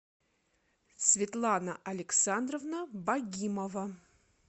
светлана александровна багимова